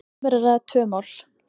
um er að ræða tvö mál.